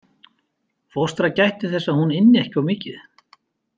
Fóstra gætti þess að hún ynni ekki of mikið.